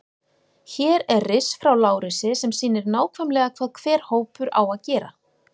Hér er riss frá Lárusi sem sýnir nákvæmlega hvað hver hópur á að gera.